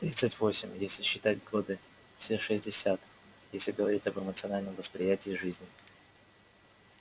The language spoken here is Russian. тридцать восемь если считать годы все шестьдесят если говорить об эмоциональном восприятии жизни